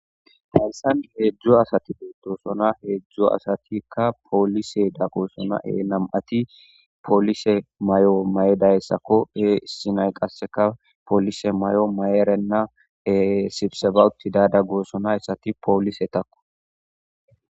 hayssani heedzdzu asati betosona heedzdzu asatikka poolise daggoosona he nam7ati poolise may7o maye dayssakko he isinay qasseka poolise may7o mayerenna e sibisefawuti dada gosonayssati poolise takko